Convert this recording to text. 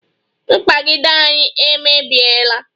mkpagide anyị emebiela